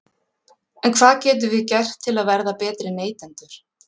En hvað getum við gert til að verða betri neytendur?